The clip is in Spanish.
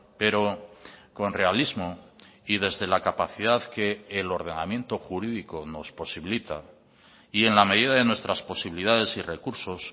pero con realismo y desde la capacidad que el ordenamiento jurídico nos posibilita y en la medida de nuestras posibilidades y recursos